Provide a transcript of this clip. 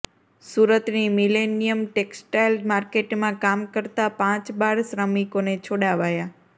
સુરતની millennium textile માર્કેટમાં કામ કરતાં પાંચ બાળ શ્રમિકોને છોડાવાયા